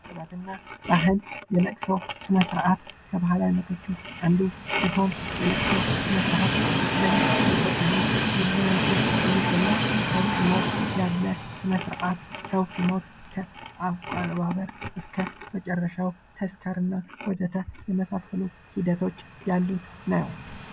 ስርዐት እና ለቅሶ የእለቅሶ ስነስርአት የልቅሶ ስነ-ስርዓት ከባህል አንዱ ሲሆን በኢትዮጵያ ውስጥ በብዙ መልኩ የሚገለጽ ሰው ሲሞት ያለ ስነስርዐት ሲሆን ሰው ሲሞት እስከመጨረሻው ተስካርና ወዘተ የመሳሰሉ ሂደቶች ያሉት ነው።